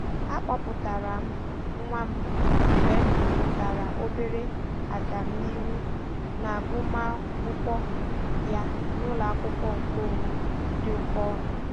A kpọpụtara m nwa m mgbe m hụtara obere agamnihu n'agụmamwkụkwọ ya n'ụlọakwụkwọ nke onwe dị oke ọnụ.